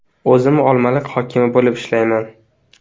O‘zim Olmaliq hokimi bo‘lib ishlayman.